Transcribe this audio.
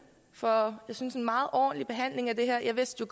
for en synes jeg meget ordentlig behandling af det her jeg vidste